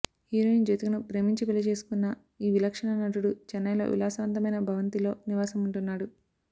heroine జ్యోతికను ప్రేమించి పెళ్లి చేసుకున్న ఈ విలక్షణ నటుడు చెన్నైలో విలాసవంతమైన భవంతిలో నివాసం ఉంటున్నాడు